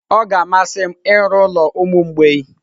Ọ ga-amasị m ịrụ ụlọ ụmụ mgbei.